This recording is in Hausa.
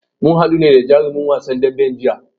Mu haɗu da jarumin wasan daɓen jiya.